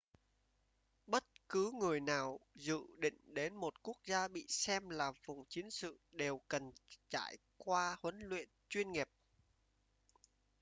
bất cứ người nào dự định đến một quốc gia bị xem là vùng chiến sự đều cần trải qua huấn luyện chuyên nghiệp